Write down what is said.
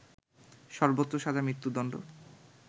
সর্বোচ্চ সাজা মৃত্যুদণ্ড